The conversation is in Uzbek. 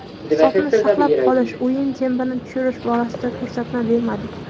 Hisobni saqlab qolish, o‘yin tempini tushirish borasida ko‘rsatma bermadik.